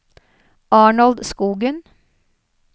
Arnold Skogen